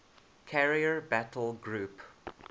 carrier battle group